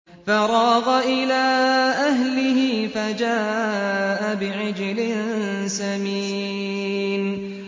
فَرَاغَ إِلَىٰ أَهْلِهِ فَجَاءَ بِعِجْلٍ سَمِينٍ